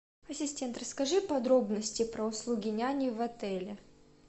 ассистент расскажи подробности про услуги няни в отеле